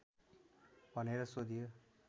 भनेर सोधियो